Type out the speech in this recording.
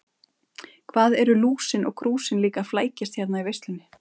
Hvað eru Lúsin og Krúsin líka að flækjast hérna í veislunni.